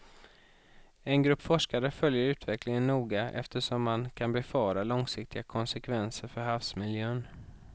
En grupp forskare följer utvecklingen noga eftersom man kan befara långsiktiga konsekvenser för havsmiljön.